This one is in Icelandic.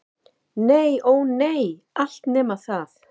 Nei- ó nei, allt nema það.